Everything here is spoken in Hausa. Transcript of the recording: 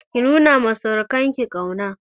Ki nuna ma surukan ki ƙauna!